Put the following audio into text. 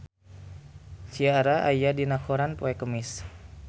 Ciara aya dina koran poe Kemis